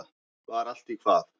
Var allt í hvað?